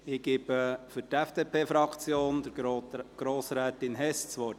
Ich gebe für die FDP-Fraktion Grossrätin Hess das Wort.